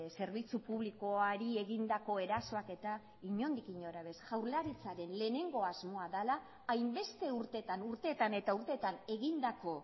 zerbitzu publikoari egindako erasoak eta inondik inora ere jaurlaritzaren lehenengo asmoa dela hainbeste urtetan urteetan eta urteetan egindako